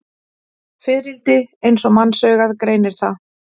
Fiðrildi eins og mannsaugað greinir það.